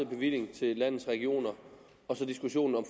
bevilling til landets regioner og diskussionen om